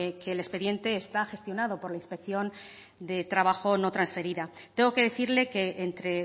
que el expediente está gestionado por la inspección de trabajo no transferida tengo que decirle que entre